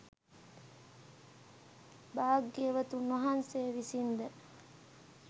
භාග්‍යවතුන් වහන්සේ විසින් ද